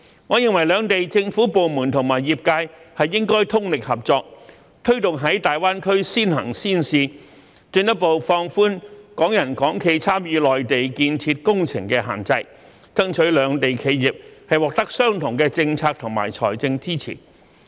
我認為兩地政府部門和業界應通力合作，推動在大灣區先行先試，進一步放寬港人港企參與內地建設工程的限制，爭取兩地企業獲得相同的政策和財政支持。